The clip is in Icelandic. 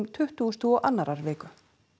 tuttugustu og annarrar viku